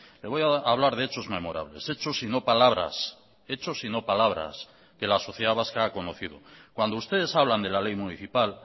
le voy a hablar de hechos memorables hechos y no palabras hechos y no palabras que la sociedad vasca ha conocido cuando ustedes hablan de la ley municipal